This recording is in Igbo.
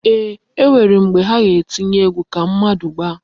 Eeh, e nwere mgbe ha etinye egwu ka mmadu gbaa.